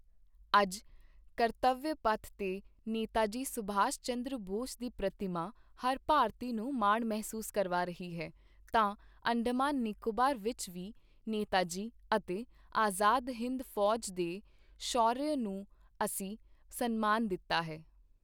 ਅੱਜ ਕਰਤਵਯ ਪਥ ਤੇ ਨੇਤਾਜੀ ਸੁਭਾਸ਼ ਚੰਦਰ ਬੋਸ ਦੀ ਪ੍ਰਤਿਮਾ ਹਰ ਭਾਰਤੀ ਨੂੰ ਮਾਣ ਮਹਿਸੂਸ ਕਰਵਾ ਰਹੀ ਹੈ, ਤਾਂ ਅੰਡਮਾਨ ਨਿਕੋਬਾਰ ਵਿੱਚ ਵੀ ਨੇਤਾਜੀ ਅਤੇ ਆਜ਼ਾਦ ਹਿੰਦ ਫ਼ੌਜ ਦੇ ਸ਼ੌਰਯ ਨੂੰ ਅਸੀਂ ਸਨਮਾਨ ਦਿੱਤਾ ਹੈ।